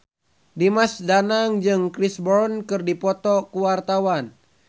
Dimas Danang jeung Chris Brown keur dipoto ku wartawan